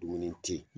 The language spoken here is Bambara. Dumuni te yen